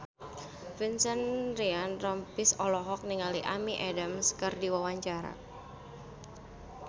Vincent Ryan Rompies olohok ningali Amy Adams keur diwawancara